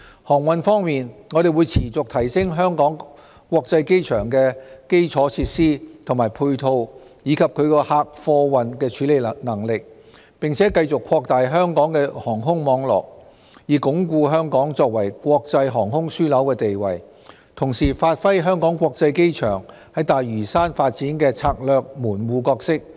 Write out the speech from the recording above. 航運方面，我們會持續提升香港國際機場的基礎設施和配套，以及其客貨運的處理能力，並繼續擴大香港的航空網絡，以鞏固香港作為國際航空樞紐的地位，同時發揮香港國際機場在大嶼山發展的策略門戶角色。